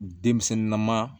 Denmisɛnnin na ma